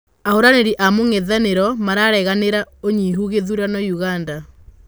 Ahũranĩri a mũng'ethanĩro maranegenagĩra ũnyihu gĩthurano ũganda.